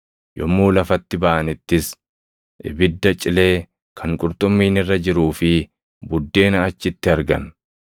Yommuu lafatti baʼanittis ibidda cilee kan qurxummiin irra jiruu fi buddeena achitti argan.